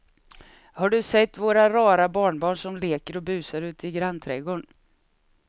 Har du sett våra rara barnbarn som leker och busar ute i grannträdgården!